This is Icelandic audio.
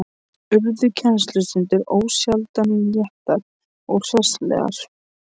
Urðu kennslustundir ósjaldan léttar og hressilegar.